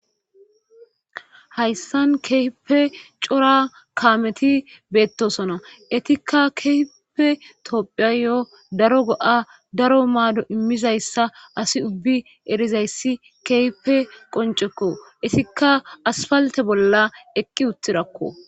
hayssan kehipe cora kaameti beettosona etikka keepe tophiyayo daro go7a daro maado immizayssa asi ubbi erizayssi keepe qoncekko isikka asfalte bolla eqqi uttidakko